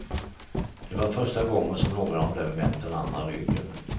Det var första gången som någon av dem vänt den andra ryggen.